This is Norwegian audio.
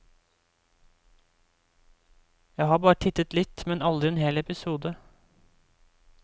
Jeg har bare tittet litt, men aldri en hel episode.